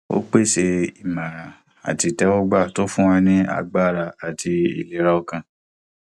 ó pèsè ìmòràn àti ìtẹwọgba tó ń fún wọn ní agbára àti ìlera ọkàn